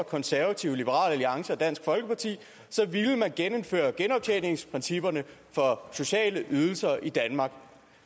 konservative liberal alliance og dansk folkeparti så ville man genindføre genoptjeningsprincipperne for sociale ydelser i danmark